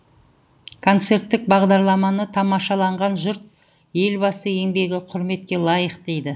концерттік бағдарламаны тамашалаған жұрт елбасы еңбегі құрметке лайық дейді